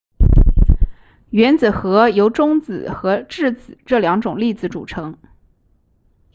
原子核由中子和质子这两种粒子组成